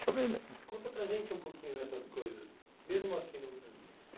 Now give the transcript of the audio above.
Conta para a gente um pouquinho dessas coisas, mesmo aqui no Rio Grande do Sul.